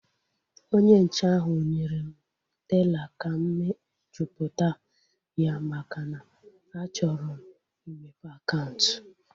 Onye nche ahu nyere m teela ka m mejupụta ya maka na a chọrọ m imepe akaụntụ